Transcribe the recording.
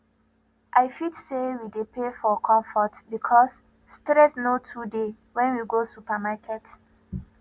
i fit sey we dey pay for comfort because stress no too dey when we go supermarket